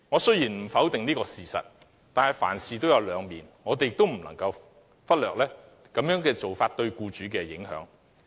雖然我不否定這個事實，但凡事都有兩面，我們亦不能忽略取消對沖機制對僱主的影響。